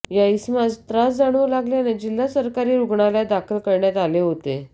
या इसमास त्रास जाणवू लागल्याने जिल्हा सरकारी रुग्णालयात दाखल करण्यात आले होते